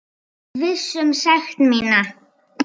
Viss um sekt mína.